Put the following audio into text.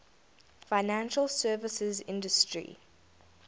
financial services industry